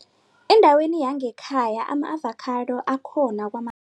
Endaweni yangekhaya ama-avocado akhona